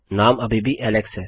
नाम अभी भी एलेक्स है